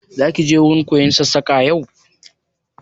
Za ki wurin koyon Sassaƙa yau?